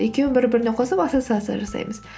екеуің бір біріне қосып ассоциация жасаймыз